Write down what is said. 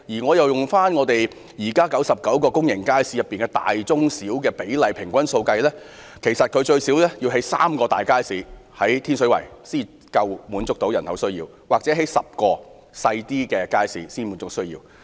按現時99個大、中、小型公營街市比例平均數計算，其實天水圍需設有最少3個大型街市或10個小型街市，才能滿足該區人口的需要。